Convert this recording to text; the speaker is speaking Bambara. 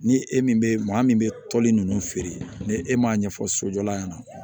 Ni e min bɛ maa min bɛ toli nunnu feere ni e m'a ɲɛfɔ sojɔla ɲɛna